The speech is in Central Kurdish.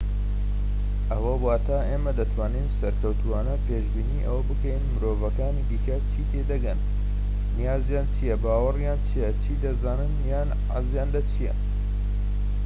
ئەوە واتە ئێمە دەتوانین سەرکەوتووانە پێشبینی ئەوە بکەین مرۆڤەکانی دیکە چی تێدەگەن نیازیان چیە باوەڕیان چیە چی دەزانن یان حەزیان لە چیە